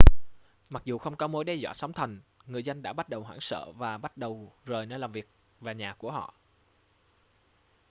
mặc dù không có mối đe dọa sóng thần người dân đã bắt đầu hoảng sợ và bắt đầu rời nơi làm việc và nhà của họ